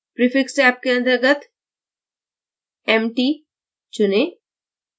prefix tab के अंतर्गत mt चुनें